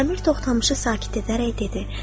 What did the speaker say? Əmir Toxdamışı sakit edərək dedi: